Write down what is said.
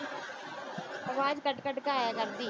ਆਵਾਜ ਕੱਟ-ਕੱਟ ਕੇ ਆਇਆ ਕਰਦੀ।